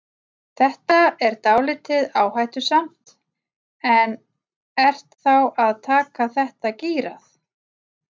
Þetta er dálítið áhættusamt en ert þá að taka þetta gírað?